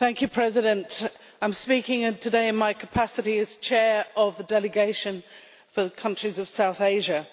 Mr President, I am speaking today in my capacity as Chair of the Delegation for countries of South Asia,